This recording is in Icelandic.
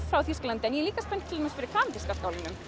frá Þýskalandi en líka spennt fyrir kanadíska skálanum